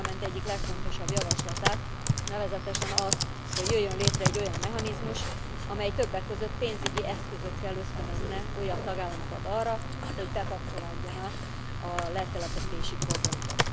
a Parlament egyik legfontosabb javaslatát, nevezetésen azt, hogy jöjjön létre egy olyan mechanizmus, amely többek között pénzügyi eszközökkel ösztönözne újabb tagállamokat arra, hogy bekapcsolódjanak a letelepítési programba.